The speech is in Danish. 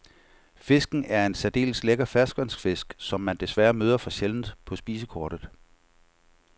Fisken er en særdeles lækker ferskvandsfisk, som man desværre møder for sjældent på spisekortet.